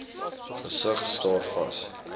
gesig staar vas